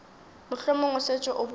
mohlomong o šetše o bone